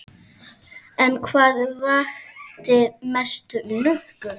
En hvað vakti mesta lukku?